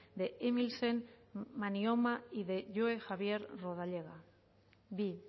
de emilsen manyoma y de joe javier rodallega bi